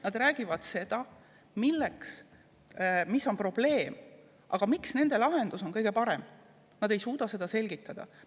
Nad räägivad sellest, mis on probleem, aga seda, miks nende lahendus on kõige parem, ei suuda nad selgitada.